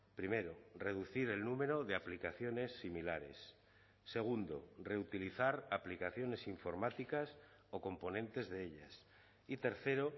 primero reducir el número de aplicaciones similares segundo reutilizar aplicaciones informáticas o componentes de ellas y tercero